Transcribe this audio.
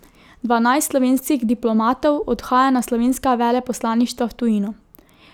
Dvanajst slovenskih diplomatov odhaja na slovenska veleposlaništva v tujino.